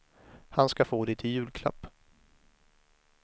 Han ska få det i julklapp.